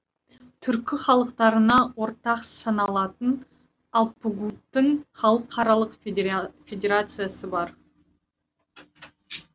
түркі халықтарына ортақ саналатын алпагуттың халықаралық федерациясы бар